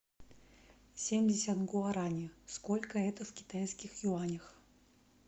семьдесят гуарани сколько это в китайских юанях